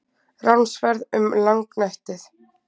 RÁNSFERÐ UM LÁGNÆTTIÐ